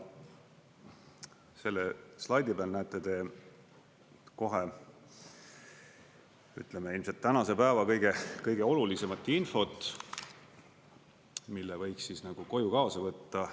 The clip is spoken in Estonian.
Selle slaidi peal näete te kohe, ütleme, ilmselt tänase päeva kõige olulisemat infot, mille võiks siis nagu koju kaasa võtta.